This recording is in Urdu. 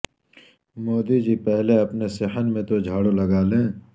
مودی جی پہلے اپنے صحن میں تو جھاڑو لگا لیں